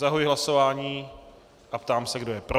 Zahajuji hlasování a ptám se, kdo je pro.